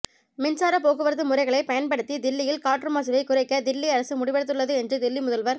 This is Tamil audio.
மின்சார போக்குவரத்து முறைகளைப் பயன்படுத்தி தில்லியில் காற்று மாசுவைக் குறைக்க தில்லி அரசு முடிவெடுத்துள்ளது என்று தில்லி முதல்வா்